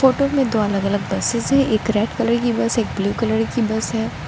Photo में दो अलग अलग बसेज हैं एक रेड कलर की बस है एक ब्लू कलर की बस है।